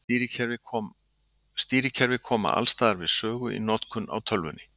Stýrikerfi koma alls staðar við sögu í notkun á tölvunni.